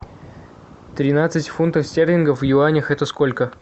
тринадцать фунтов стерлингов в юанях это сколько